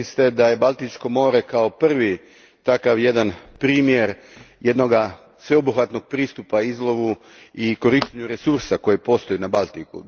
Rekli ste da je Baltičko more kao prvi takav jedan primjer jednoga sveobuhvatnog pristupa izlovu i korištenju resursa koji postoje na Baltiku.